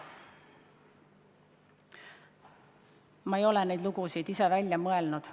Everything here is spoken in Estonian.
Ma ei ole neid lugusid ise välja mõelnud.